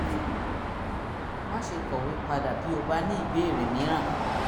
ní ìbámu pẹ̀lú àbájáde àyẹ̀wò náà o lè lo àpapọ̀ oògùn apakòkòrò àrùn fún ọ̀sẹ̀ mẹ́rin